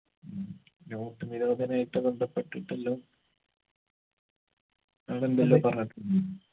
ഉം note നിരോധനായിട്ട് ബന്ധപ്പെട്ടിട്ടെല്ലു ആളെന്തെല്ലോ പറഞ്ഞിട്ടുണ്ട്